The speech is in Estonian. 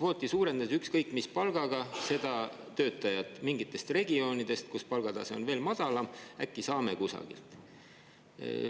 kvooti ja lubaks tuua ükskõik mis palgaga neid töötajaid mingitest regioonidest, kus palgatase on veel madalam – äkki saame kusagilt.